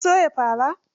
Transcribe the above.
Kin soya farar?